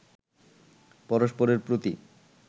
পরস্পরেরর প্রতি